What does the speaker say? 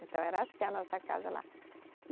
Então era assim a nossa casa lá.